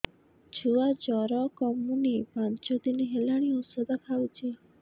ଛୁଆ ଜର କମୁନି ପାଞ୍ଚ ଦିନ ହେଲାଣି ଔଷଧ ଖାଉଛି